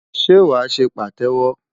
Ṣé wàá ṣe Pàtẹ́wọ́?